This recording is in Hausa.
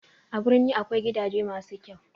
A birni akwai gidaje masu kyau